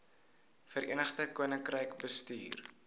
verenigde koninkryk bestuur